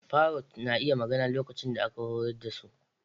Parrots na iya magana lokacin da aka horar da su.